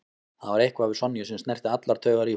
Það var eitthvað við Sonju sem snerti allar taugar í honum.